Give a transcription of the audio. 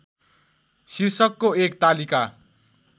शीर्षकको एक तालिका